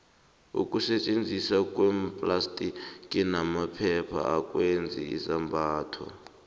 ukusetjenziswa kweemplastiki namaphepha ukwenza izambatho